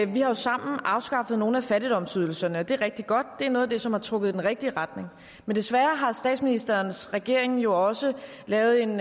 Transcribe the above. vi har jo sammen afskaffet nogle af fattigdomsydelserne det er rigtig godt det er noget af det som har trukket i den rigtige retning men desværre har statsministerens regering jo også lavet en